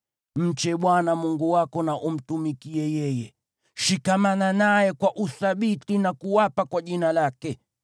Mche Bwana Mungu wako na umtumikie yeye. Shikamana naye kwa uthabiti na kuapa kwa jina lake.